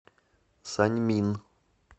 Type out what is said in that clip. саньмин